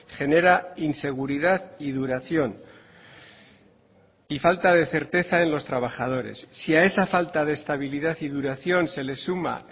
genera inseguridad y duración y falta de certeza en los trabajadores si a esa falta de estabilidad y duración se le suma